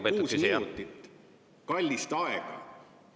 … praegu 36 minutit kallist aega.